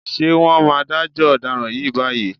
Ṣé wọ́n máa dájọ́ ọ̀daràn yìí báyìí?